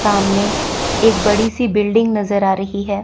सामने एक बड़ी सी बिल्डिंग नजर आ रही हैं।